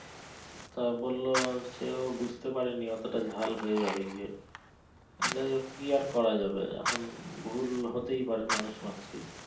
তা বললো সেও বুঝতে পারেনি অতটা ঝাল হয়ে যাবে গিয়ে যাইহোক কি আর করা যাবে এখন ভুল হতেই পারে মানুষ মাত্র ই।